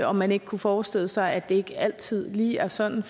om man ikke kunne forestille sig at det ikke altid lige er sådan